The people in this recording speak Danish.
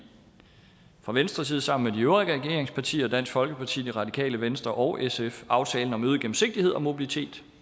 fra venstres side sammen øvrige regeringspartier og dansk folkeparti det radikale venstre og sf aftalen om øget gennemsigtighed og mobilitet